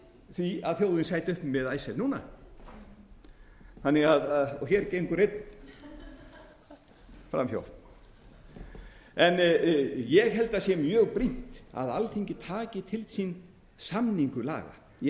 því að þjóðin sæti uppi með icesave núna og hér gengur einn fram hjá ég held að það sé mjög brýnt að alþingi taki til sín samningu laga ég